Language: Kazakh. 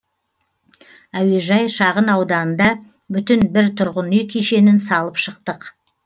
әуежай шағын ауданында бүтін бір тұрғын үй кешенін салып шықтық